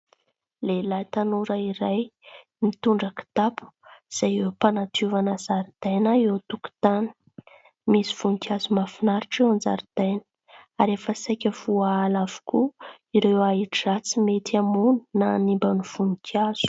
Lehilahy tanora iray mitondra kitapo izay eo am-panadiovana zaridaina eo an-tokotany. Misy voninkazo mahafinaritra eo an-jaridaina ary efa saika voaala avokoa ireo ahi-dratsy mety hamono na hanimba ny voninkazo.